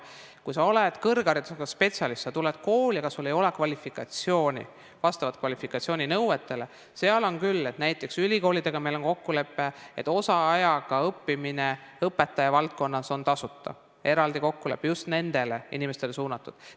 Kui sa oled kõrgharidusega spetsialist, sa tuled kooli, aga sul ei ole kvalifikatsiooni, mis vastaks kvalifikatsiooninõuetele, siis näiteks ülikoolidega meil on kokkulepe, et osaajaga õppimine õpetajavaldkonnas on tasuta, see eraldi kokkulepe on just nendele inimestele suunatud.